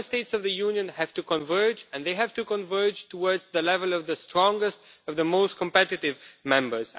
Member States have to converge, and they have to converge towards the level of the strongest and most competitive members.